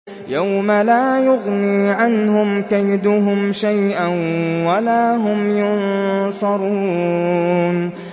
يَوْمَ لَا يُغْنِي عَنْهُمْ كَيْدُهُمْ شَيْئًا وَلَا هُمْ يُنصَرُونَ